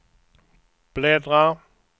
bläddra